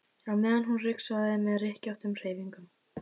á meðan hún ryksugaði með rykkjóttum hreyfingum.